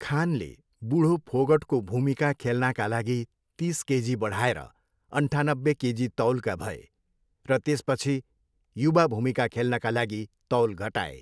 खानले बुढो फोगटको भूमिका खेल्नाका लागि तिस केजी बढाएर अन्ठानब्बे केजी तौलका भए र त्यसपछि युवा भूमिका खेल्नका लागि तौल घटाए।